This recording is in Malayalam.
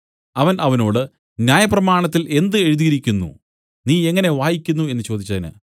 അവൻ അവനോട് ന്യായപ്രമാണത്തിൽ എന്ത് എഴുതിയിരിക്കുന്നു നീ എങ്ങനെ വായിക്കുന്നു എന്നു ചോദിച്ചതിന്